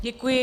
Děkuji.